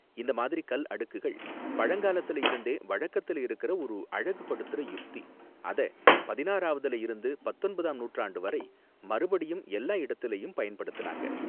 இந்த மாதிரி கல் அடுக்குகள் பழங்காலத்துல இருந்தே வழக்கத்துல இருக்குற ஒரு அழகுபடுத்துற யுக்தி, அத பதினாறாவதுல இருந்து பத்தொன்பதாம் நூற்றாண்டு வரை மறுபடியும் எல்லா இடத்துலயும் பயன்படுத்துனாங்க.